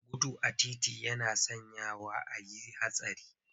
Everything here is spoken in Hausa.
Gudu a titi yana sanyawa a yi hatsari.